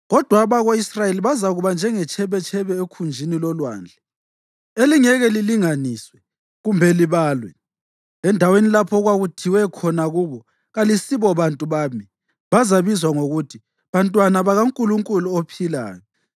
Kodwa abako-Israyeli bazakuba njengetshebetshebe ekhunjini lolwandle elingeke lilinganiswe kumbe libalwe. Endaweni lapho okwakuthiwe khona kubo, ‘Kalisibo bantu bami,’ bazabizwa ngokuthi, ‘bantwana bakaNkulunkulu ophilayo.’